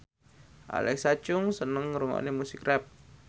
Alexa Chung seneng ngrungokne musik rap